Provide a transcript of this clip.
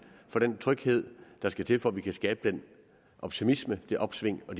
for den tryghed der skal til for at vi kan skabe den optimisme det opsving og